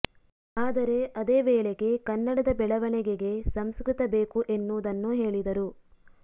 ಆದರೆ ಅದೇ ವೇೆಗೆ ಕನ್ನಡದ ಬೆಳವಣಿಗೆಗೆ ಸಂಸ್ಕೃತ ಬೇಕು ಎನ್ನುವುದನ್ನು ಹೇಳಿದರು